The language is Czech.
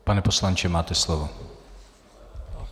Pane poslanče, máte slovo.